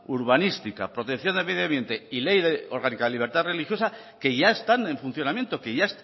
urbanística protección de medioambiente y ley de orgánica de libertad religiosa que ya están en funcionamiento que ya